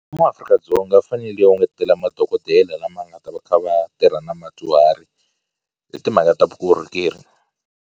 Mfumo wa Afrika-Dzonga wu fanele wu ngetela madokodela lama nga ta va kha va tirha na madyuhari hi timhaka ta vukorhokeri.